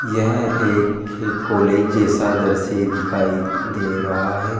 यह एक के कॉलेज जैसा दृश्य दिखाई दे रहा है।